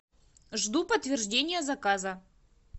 жду подтверждения заказа